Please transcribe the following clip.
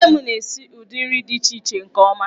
Nne m na-esi ụdị nri dị iche iche nke ọma.